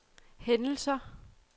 hændelser